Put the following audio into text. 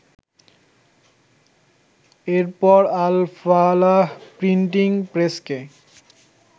এরপর আল ফালাহ প্রিন্টিং প্রেসকে